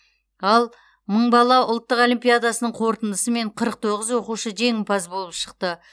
ал мың бала ұлттық олимпиадасының қорытындысымен қырық тоғыз оқушы жеңімпаз болып шықты